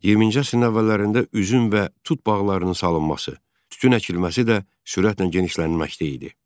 20-ci əsrin əvvəllərində üzüm və tut bağlarının salınması, tütün əkilməsi də sürətlə genişlənməkdə idi.